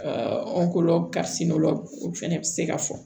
o fɛnɛ bi se ka fɔ